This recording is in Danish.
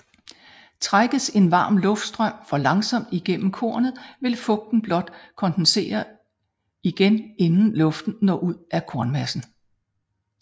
Trækkes en varm luftstrøm for langsomt igennem kornet vil fugten blot kondensere igen inden luften når ud af kornmassen